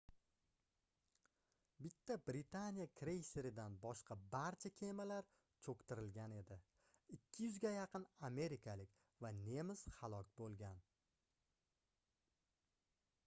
bitta britaniya kreyseridan boshqa barcha kemalar choʻktirilgan edi 200 ga yaqin amerikalik va nemis halok boʻlgan